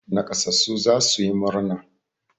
Naƙasassu za su yi murna.